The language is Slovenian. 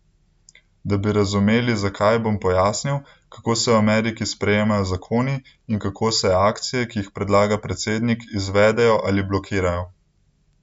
Da bi razumeli, zakaj, bom pojasnil, kako se v Ameriki sprejemajo zakoni in kako se akcije, ki jih predlaga predsednik, izvedejo ali blokirajo.